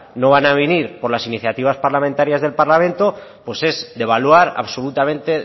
no van a venir por las iniciativas parlamentarias del parlamento pues es devaluar absolutamente